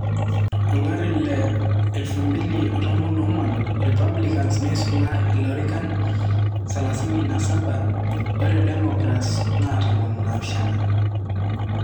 Olari le 2014 Repablicans neisula ilorikan 37 ore Democrants na 17.